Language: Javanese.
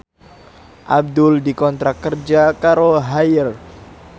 Abdul dikontrak kerja karo Haier